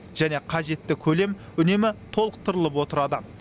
және қажетті көлем үнемі толықтырылып отырады